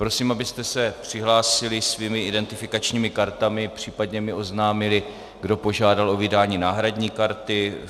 Prosím, abyste se přihlásili svými identifikačními kartami, případně mi oznámili, kdo požádal o vydání náhradní karty.